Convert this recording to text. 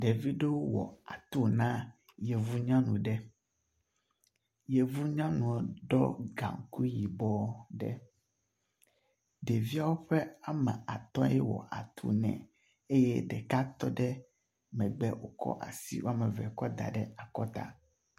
Ɖevi ɖewo wɔ atu na yevu nyɔnu ɖe. Yevu nyɔnua ɖɔ gaŋkui yibɔ ɖe. Ɖeviawo ƒe ame atɔe wɔ atu ne eye ɖeka tɔ ɖe megbe ekɔ asi wɔme eve kɔ da ɖe akɔta.